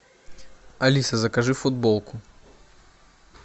алиса закажи футболку